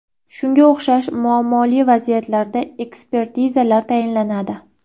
Shunga o‘xshash muammoli vaziyatlarda ekspertizalar tayinlanadi.